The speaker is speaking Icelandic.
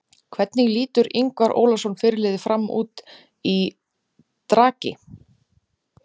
Hvernig lítur Ingvar Ólason fyrirliði FRAM út í dragi?